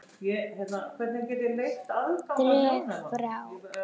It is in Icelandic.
Dreg frá.